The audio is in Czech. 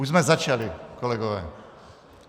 Už jsme začali, kolegové.